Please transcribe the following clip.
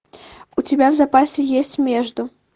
у тебя в запасе есть между